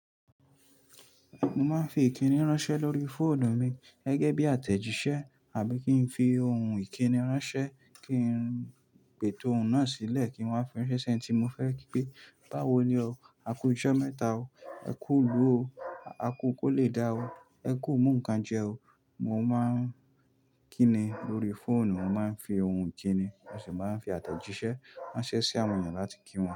Mo máa ń fi ìkíni ránṣẹ́ lórí fóònù mi gẹ́gẹ́ bí àtẹ̀jíṣẹ́ àbí kí n fi ohun ìkíni ránṣẹ́ kí n pè ètò òun náà sílẹ̀ kí n wá fi ṣẹ́ṣẹ tí mo fẹ́ kí pé báwo ni o, a kú ọjọ́ mẹ́ta o, ẹ kú ìlú o, a kú kólé dà o, ẹ kú mo nǹkan jẹ o. Mo máa ń kíni lórí fóònù, mo máa ń fi ohun kíni, mo sì máa ń fi àtẹ̀jíṣẹ́ ránṣẹ́ sí àwọn èèyàn láti kí wọn.